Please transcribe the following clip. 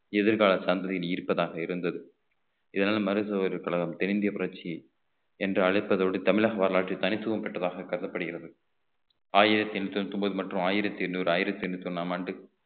எதிர்கால சந்ததியில் இருப்பதாக இருந்தது இதனால் மருது சகோதரர் கழகம் தென்னிந்திய புரட்சி என்று அழைப்பதோடு தமிழக வரலாற்றில் தனித்துவம் பெற்றதாக கருதப்படுகிறது ஆயிரத்தி எண்ணூத்தி தொண்ணூத்தி ஒன்பது மற்றும் ஆயிரத்தி எண்ணூறு ஆயிரத்தி எண்ணூத்தி ஒண்ணாம் ஆண்டு